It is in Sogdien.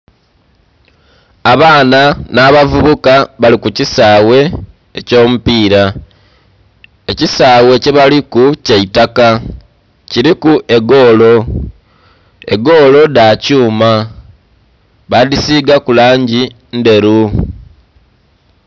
Abaana nha bavubuka bali ku kisaghe ekyo mu piira, ekisaghe kye baliku kya itaka kuliku egoolo, egoolo dha kyuma badhisigaku langi ndheru.